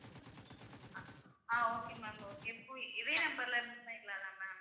அஹ் okay ma'am okay இப்ப இதே number ல பண்ணிக்கலாம் ma'am